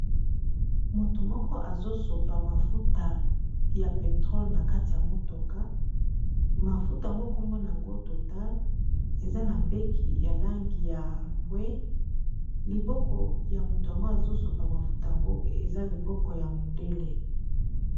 Moto moko, azosopa mafuta ya petrole na kati ya motuka. Mafuta yango, kombo na yango total. Eza na mbeki ya langi ya mbwe. Liboko ya moto yango azosopa mafuta yango eza liboko ya mondele.